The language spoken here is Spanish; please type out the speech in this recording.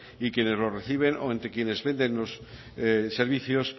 y quienes los reciben o entre quienes venden los servicios